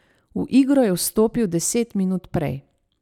V igro je vstopil deset minut prej.